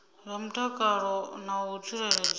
zwa mutakalo na u tsireledzea